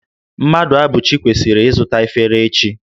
Mmadụabụchi kwesiri izuta efere echi